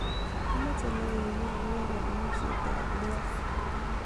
amoche logoiwek agopo kabelisiet ab gloove